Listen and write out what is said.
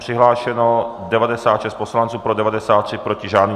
Přihlášeno 96 poslanců, pro 93, proti žádný.